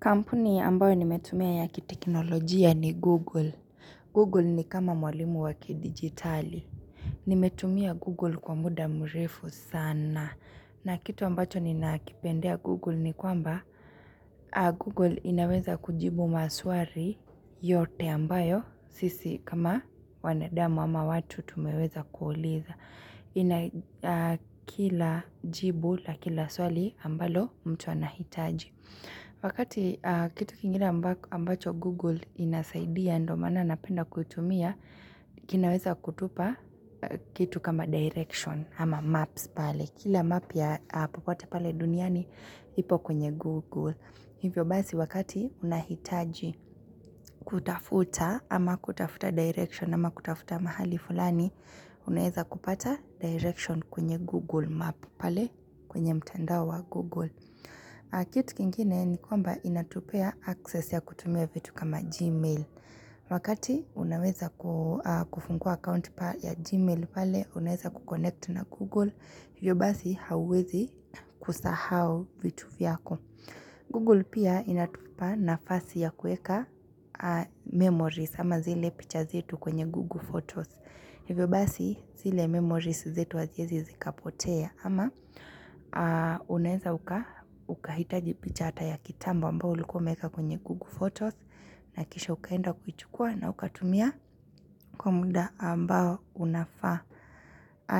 Kampuni ambayo nimetumia ya kitekinolojia ni Google. Google ni kama mwalimu wakidigitali. Nimetumia Google kwa muda mrefu sana. Na kitu ambacho ninaakipendea Google ni kwamba Google inaweza kujibu maswari yote ambayo. Sisi kama wanadamu ama watu tumeweza kuuliza. Kila jibu la kila swali ambalo mtu anahitaji. Wakati kitu kingine ambacho Google inasaidia ndo mana napenda kutumia kinaweza kutupa kitu kama Direction ama Maps pale Kila map ya popote pale duniani ipo kwenye Google Hivyo basi wakati unahitaji kutafuta ama kutafuta Direction ama kutafuta mahali fulani Unaeza kupata Direction kwenye Google Map pale kwenye mtandao Google Kitu kingine ni kwamba inatupea access ya kutumia vitu kama Gmail. Wakati unaweza kufungua account pa ya Gmail pale, unaweza kuconnect na Google. Hiyo basi hauwezi kusahau vitu vyako. Google pia inatupa nafasi ya kueka memories ama zile picha zetu kwenye Google Photos. Hivyo basi zile memories zetu haziezi zikapotea ama unaeza uka hitaji picha ata ya kitambo ambayo ulikua uwemeka kwenye Google Photos na kisha ukaenda kuichukua na ukatumia kwa mda ambao unafaa.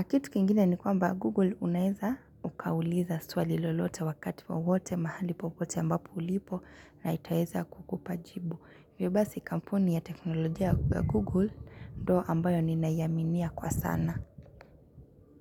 Kitu kingine ni kwamba Google unaeza ukauliza swali lolote wakati wowote mahali popote ambapo ulipo na itaeza kukupa jibu. Wibasi kampuni ya teknolojia ya Google ndo ambayo ninayaminia kwa sana.